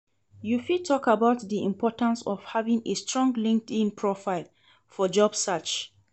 You fit talk about di importance of having a strong Linkedln profile for job search.